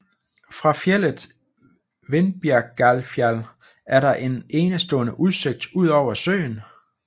Fra fjeldet Vindbergjarfjall er der en enestående udsigt ud over søen